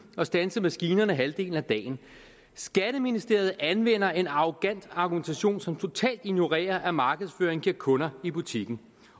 og standse maskinerne halvdelen af dagen skatteministeriet anvender en arrogant argumentation som totalt ignorerer at markedsføring giver kunder i butikken